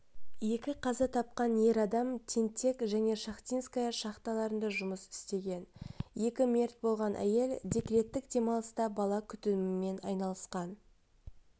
екі қаза тапқан ер адам тентек және шахтинская шахталарында жұмыс істеген екі мерт болған әйел декреттік демалыста бала күтімімен айналысқан